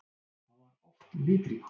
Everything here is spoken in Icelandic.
Hann var oft litríkur.